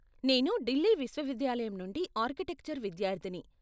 నేను ఢిల్లీ విశ్వవిద్యాలయం నుండి ఆర్కిటెక్చర్ విద్యార్ధిని.